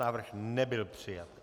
Návrh nebyl přijat.